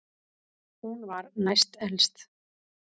Hún var næst elst.